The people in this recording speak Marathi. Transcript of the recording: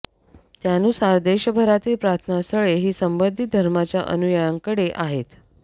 त्यानुसार देशभरातील प्रार्थना स्थळे ही संबंधित धर्माच्या अनुयायांकडे आहेत